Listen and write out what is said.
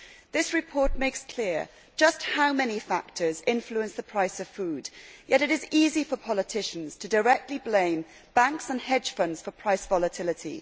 This report makes clear just how many factors influence the price of food, yet it is easy for politicians directly to blame banks and hedge funds for price volatility.